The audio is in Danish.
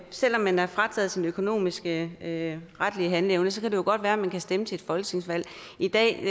selv om man er frataget sin økonomiske retlige handleevne kan det jo godt være at man kan stemme til et folketingsvalg i dag